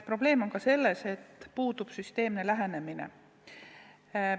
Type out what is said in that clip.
Probleem on ka selles, et puudub süsteemne lähenemine.